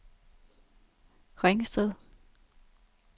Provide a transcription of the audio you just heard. Ringsted